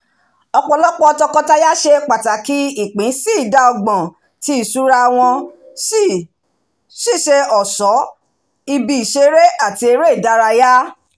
ọpọlọpọ tọkọtaya ṣe pàtàkì ìpín sí ìdá ọgbọ̀n ti ìṣúná wọn si ṣiṣẹ́ ọ̀ṣọ́ ibi ìṣeré àti eré ìdárayá